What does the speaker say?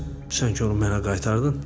Sən ki onu mənə qaytardın?